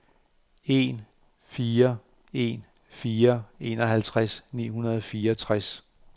en fire en fire enoghalvtreds ni hundrede og fireogtres